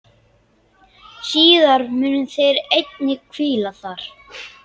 Síðar munu þeir einnig hvíla þar.